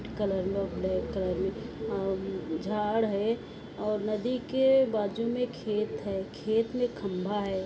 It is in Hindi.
कलर में ब्लैक कलर में झाड़ है और नदी के बाजु में खेत है खेत में खंबा है।